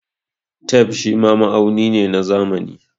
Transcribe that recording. Tape shima ma'auni ne na zamani.